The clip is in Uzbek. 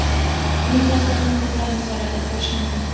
Buning tasdig‘ini ko‘plab misollarda ko‘rish mumkin.